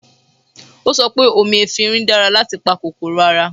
O sọ pé omi efinrin dára láti pa kòkòrò ara